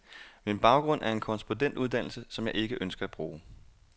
Min baggrund er en korrespondentuddannelse, som jeg ikke ønsker at bruge.